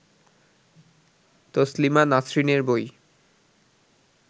তসলিমা নাসরিনের বই